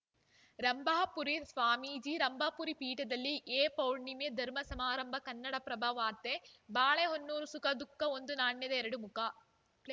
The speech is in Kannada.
ರಂಭಾಪುರಿ ಸ್ವಾಮೀಜಿ ರಂಭಾಪುರಿ ಪೀಠದಲ್ಲಿ ಏಪೌರ್ಣಿಮೆ ಧರ್ಮ ಸಮಾರಂಭ ಕನ್ನಡಪ್ರಭ ವಾರ್ತೆ ಬಾಳೆಹೊನ್ನೂರು ಸುಖ ದುಃಖ ಒಂದು ನಾಣ್ಯದ ಎರಡು ಮುಖ